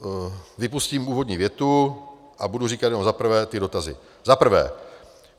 Vypustím úvodní větu a budu říkat jenom za prvé ty dotazy: Za prvé.